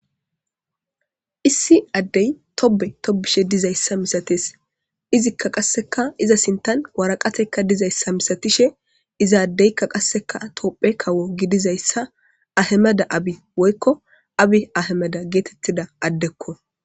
Issi adde tobbe tobishe dizayisa milates izika qase iza sinthan woraqathayika dizayisa misatishen iza adeka tophiya kawo gidizayisa ahimede abbyi woyiko Abby ahimede getetiza adeko